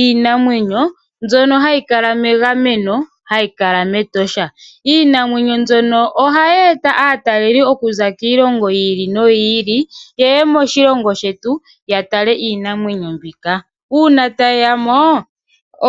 iinamwenyo mbyono hayi kala megameno, hayi kala mEtosha National Park . Iinamwenyo mbyono ohayi eta aataleli okuza kiilongo yiili noyiili, yeye moshilongo shetu yatale iinamwenyo mbika. Uuna tayeyamo